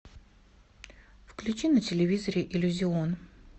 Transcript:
включи на телевизоре иллюзион